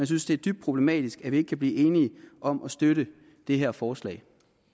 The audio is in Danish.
synes det er dybt problematisk at vi ikke kan blive enige om at støtte det her forslag